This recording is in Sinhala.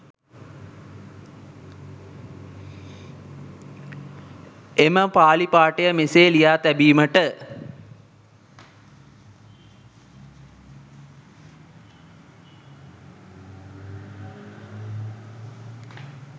එම පාලි පාඨය මෙසේ ලියා තැබීමට